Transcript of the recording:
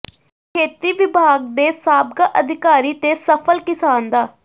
ਖੇਤੀ ਵਿਭਾਗ ਦੇ ਸਾਬਕਾ ਅਧਿਕਾਰੀ ਤੇ ਸਫਲ ਕਿਸਾਨ ਡਾ